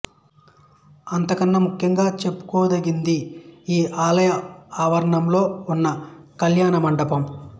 అంతకన్న ముఖ్యంగా చెప్పుకోదగ్గది ఈ ఆలయ ఆవరణంలో వున్న కళ్యాణ మండపం